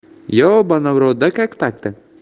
ёбана в рот да как так-то